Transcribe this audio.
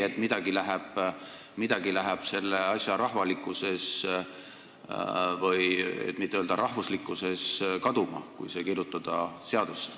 Kas teid ei häiri, et midagi läheb selle asja rahvalikkuses, kui mitte öelda rahvuslikkuses, kaduma, kui hümn seadusse kirjutada?